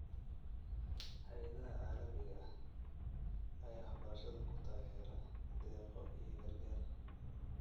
Hay'adaha caalamiga ah ayaa waxbarashada ku taageera deeqo iyo gargaar.